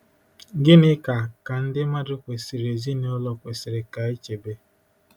Gịnị ka, ka ndị mmadụ kwesịrị ezinụlọ kwesịrị ka e chebe?